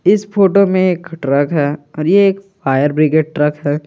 इस फोटो में एक ट्रक है और ये एक फायर ब्रिगेड ट्रक है।